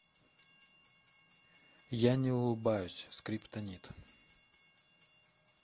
я не улыбаюсь скриптонит